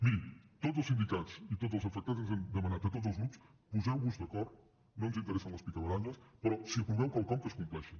miri tots els sindicats i tots els afectats ens han demanat a tots els grups poseu vos d’acord no ens interessen les picabaralles però si aproveu quelcom que es compleixi